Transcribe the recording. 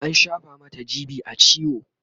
an shafa Mata g.b a ciwo